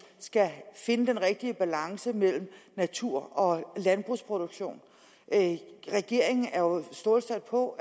skal finde den rigtige balance mellem natur og landbrugsproduktion regeringen er stålsat på